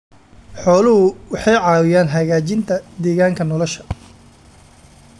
Xooluhu waxay caawiyaan hagaajinta deegaanka nolosha.